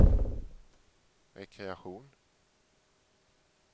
rekreation